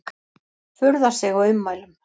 Furðar sig á ummælum